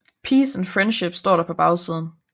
PEACE AND FRIENDSHIP står der på bagsiden